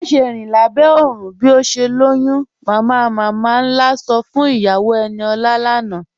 Màṣẹ̀ rin lábẹ́ oòrùn bí o ṣè lọ́yún, "mamamama-nlá sọ́ fún iyàwó Eníọla lánà.